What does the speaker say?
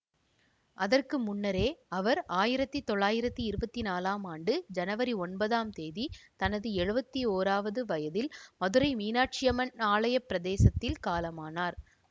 அதற்கு முன்னரே அவர் ஆயிரத்தி தொள்ளாயிரத்தி இருபத்தி நான்காம் ஆண்டு ஜனவரி ஒன்பது ஆம் திகதி தனது எழுவத்தி ஒன்றாவது வயதில் மதுரை மீனாட்சியம்மன் ஆலயப் பிரதேசத்தில் காலமானார்